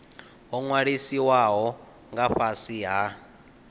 ho ṅwalisiwaho nga fhasi ha